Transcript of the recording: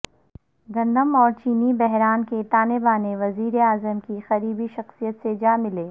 گندم اور چینی بحران کے تانے بانے وزیراعظم کی قریبی شخصیت سے جاملے